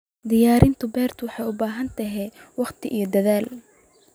Diyaarinta beertu waxay u baahan tahay waqti iyo dadaal.